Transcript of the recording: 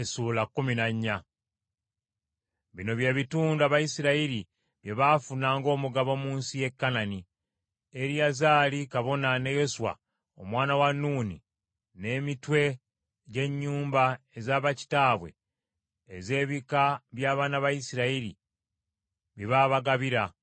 Bino by’ebitundu Abayisirayiri bye baafuna ng’omugabo mu nsi y’e Kanani, Eriyazaali kabona, ne Yoswa, omwana wa Nuuni, n’emitwe gy’ennyumba eza bakitaabwe ez’ebika by’abaana ba Isirayiri bye baabagabira.